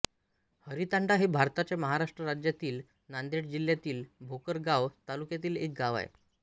हरीतांडा हे भारताच्या महाराष्ट्र राज्यातील नांदेड जिल्ह्यातील भोकर गाव तालुक्यातील एक गाव आहे